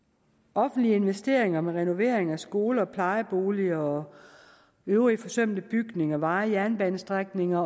offentlige investeringer med renoveringer af skoler og plejeboliger og øvrige forsømte bygninger veje jernbanestrækninger